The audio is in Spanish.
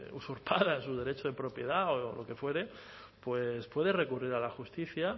usurpado su derecho de propiedad o lo que fuere pues puede recurrir a la justicia